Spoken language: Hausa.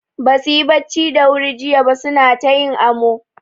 Basu yi bacci da wuri jiya ba suna ta yin amo.